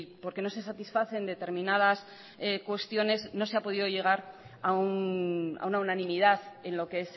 porque no se satisfacen determinadas cuestiones no se ha podido llegar a una unanimidad en lo que